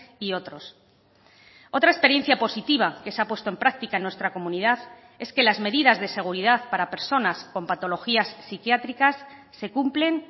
y otros otra experiencia positiva que se ha puesto en práctica en nuestra comunidad es que las medidas de seguridad para personas con patologías psiquiátricas se cumplen